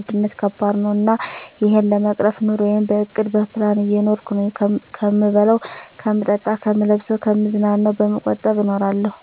ዉድነት ከባድ ነው እና እሄን ለመቅረፍ ኑረየን በእቅድ በፕላን እየኖርኩ ነው ከምበላው ከምጠጣ ከምለብሰው ከምዝናናው በመቆጠብ እኖራለሁ